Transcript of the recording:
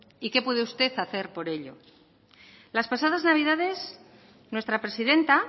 y qué puede usted hacer por ello las pasadas navidades nuestra presidenta